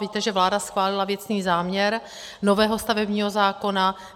Víte, že vláda schválila věcný záměr nového stavebního zákona.